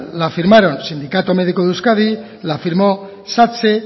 la firmaron sindicato médico de euskadi la firmó satse